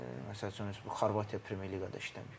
Məsəl üçün, bu Xorvatiya Premyer Liqada işləməyib.